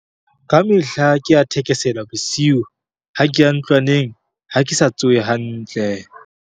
Kamehla ke a thekesela bosiu ha ke a ntlwaneng ha ke sa tsohe hantle.